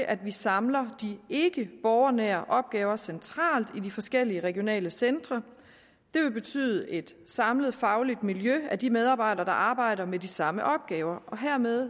at vi samler de ikkeborgernære opgaver centralt i de forskellige regionale centre det vil betyde et samlet fagligt miljø af de medarbejdere der arbejder med de samme opgaver og hermed